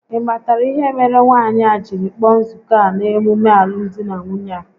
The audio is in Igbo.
Ị matara ihe mere nwaanyị a jiri kpọọ nzuko a n'emume alụmdi na nwunye a?